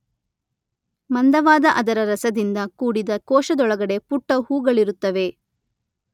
ಮಂದವಾದ ಅದರ ರಸದಿಂದ ಕೂಡಿದ ಕೋಶದೊಳಗಡೆ ಪುಟ್ಟ ಹೂಗಳಿರುತ್ತವೆ.